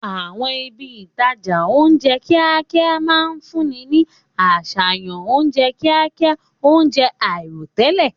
Àwọn ibi ìtajà oúnjẹ kíákíá máa ń fúnni ní àṣàyàn oúnjẹ kíákíá, oúnjẹ àìròtẹ́lẹ̀.